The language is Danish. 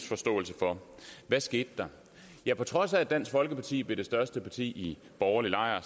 forståelse for hvad skete der ja på trods af at dansk folkeparti blev det største parti i borgerlig lejr